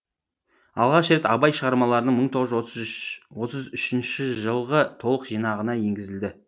алғаш рет абай шығармаларының мың тоғыз жүз отыз үшінші жылғы толық жинағына енгізілді